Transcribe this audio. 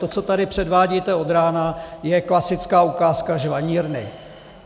To, co tady předvádíte od rána, je klasická ukázka žvanírny.